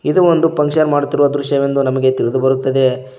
ಇದು ಒಂದು ಫನ್ಕ್ಷನ್ ಮಾಡುತ್ತಿರುವ ದೃಶ್ಯವೆಂದು ನಮಗೆ ತಿಳಿದುಬರುತ್ತದೆ.